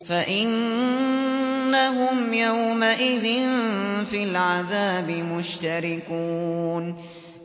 فَإِنَّهُمْ يَوْمَئِذٍ فِي الْعَذَابِ مُشْتَرِكُونَ